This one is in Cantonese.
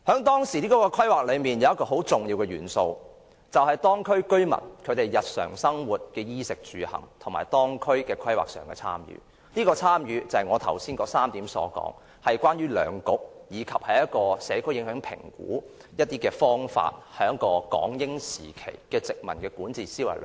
當時的規劃有一個很重要的元素，便是當區居民對日常生活、衣食住行，以及當區規劃的參與，這種參與是我剛才提到的3點中，關於兩局及社區影響評估的方法，慢慢滲入了港英時期的殖民管治思維。